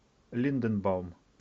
линденбаум